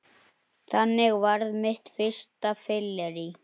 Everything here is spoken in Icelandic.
Þannig varð mitt fyrsta fyllerí